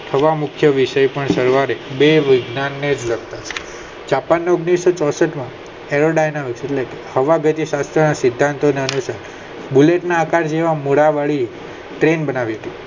હવા મુખ્ય વિષય પણ સવારે બેય વિજ્ઞાન ને જ લગતા છે જાપાન માં ઓગણીસો ચોસઠ માં બરોડા ના હવા ભેગી બુલેટ ના આકાર મૂળ વળી ટ્રેન બનાવી દીધી